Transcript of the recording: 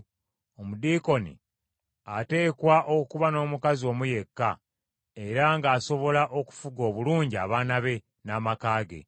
Omudiikoni ateekwa okuba n’omukazi omu yekka, era ng’asobola okufuga obulungi abaana be, n’amaka ge.